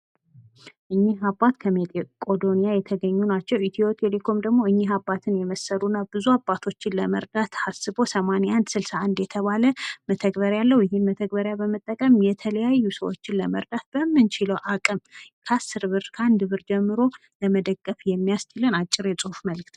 እኒህ አባት ከመቆዶንያ የተገኙ ናቸው። ኢትዮ ቴሌኮም ደግሞ እኒህ አባትን የመሰሉ ብዙ አባቶችን ለመርዳት ታስቦ 8161 የተባለ መተግበሪያ አለው። ይህን መተግበሪያን በመጠቀም የተለያዩ ሰዎች ለመርዳት በምንችለው አቅም ክ10ብር፣ ክ1ብር ጀምሮ ለመደገፍ የሚያስችለን አጭር የጽሑፍ መልዕክት